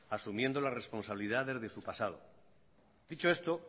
asumiendo las responsabilidades de su pasado dicho esto